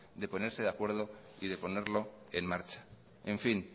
de ponerse de acuerdo y de ponerlo en marcha en fin